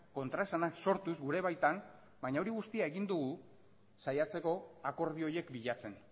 kontraesanak sortuz gure baitan baina hori guztia egin dugu saiatzeko akordio horiek bilatzen